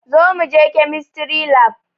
Zo muje kemistry lab